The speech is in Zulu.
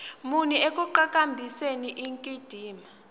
muni ekuqhakambiseni indikimba